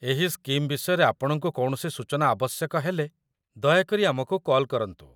ଏହି ସ୍କିମ୍ ବିଷୟରେ ଆପଣଙ୍କୁ କୌଣସି ସୂଚନା ଆବଶ୍ୟକ ହେଲେ, ଦୟାକରି ଆମକୁ କଲ୍ କରନ୍ତୁ